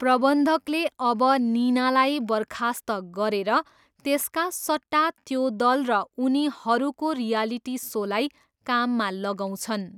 प्रबन्धकले अब निनालाई बर्खास्त गरेर त्यसका सट्टा त्यो दल र उनीहरूको रियालिटी सोलाई काममा लगाउँछन्।